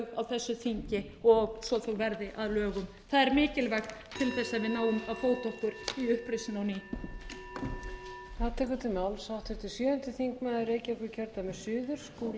á þessu þingi og svo þau verði að lögum það er mikilvægt til þess að við náum að fóta okkur í uppreisn á ný skýrsla